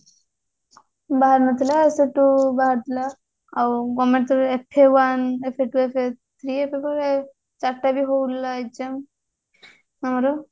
ବାହାରି ନଥିଲା ସେଠୁ ବାହାରିଥିଲା ଆଉ government ର FA one FA two FA three FA four ଚାରିଟା paper ହଉଥିଲା exam ଆମର